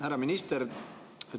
Härra minister!